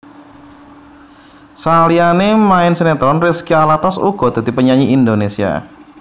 Saliyané main sinetron Rizky Alatas uga dadi penyanyi Indonesia